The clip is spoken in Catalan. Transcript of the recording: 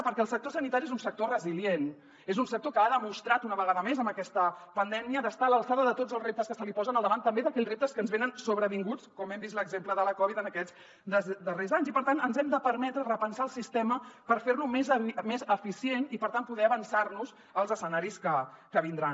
perquè el sector sanitari és un sector resilient és un sector que ha demostrat una vegada més amb aquesta pandèmia estar a l’alçada de tots els reptes que se li posen al davant també d’aquells reptes que ens venen sobrevinguts com hem vist l’exemple de la covid en aquests darrers anys i per tant ens hem de permetre repensar el sistema per fer lo més eficient i per tant poder avançar nos als escenaris que vindran